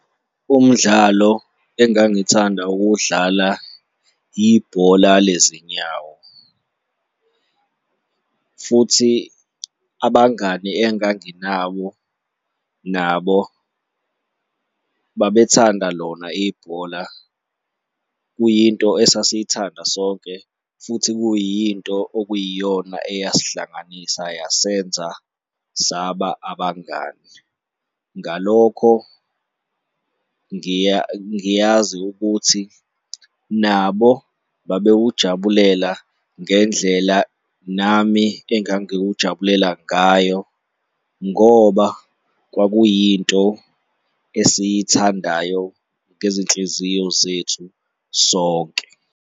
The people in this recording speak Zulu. Umdlalo engangithanda ukuwudlala, ibhola lezinyawo futhi abangani enganginawo nabo babethanda lona ibhola, kuyinto esasiy'thanda sonke futhi kuyinto okuyiyona eyasihlanganisa yasenza saba abangani. Ngalokho ngiyazi ukuthi nabo babewujabulela ngendlela nami engangiwujabulela ngayo ngoba kwakuyinto esiy'thandayo ngezinhliziyo zethu sonke.